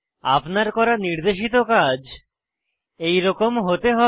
আপনার করা নির্দেশিত কাজ এইরকম হতে হবে